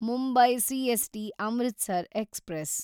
Mumbai CST Amritsar express